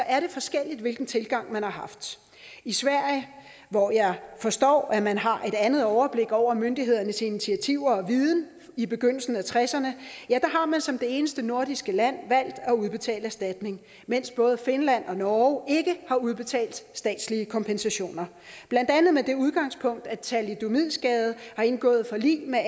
er forskelligt hvilken tilgang man har haft i sverige hvor jeg forstår at man har et andet overblik over myndighedernes initiativer og viden i begyndelsen af nitten tresserne har man som det eneste nordiske land valgt at udbetale erstatning mens både finland og norge ikke har udbetalt statslige kompensationer blandt andet med det udgangspunkt at thalidomidskadede har indgået forlig med